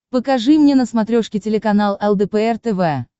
покажи мне на смотрешке телеканал лдпр тв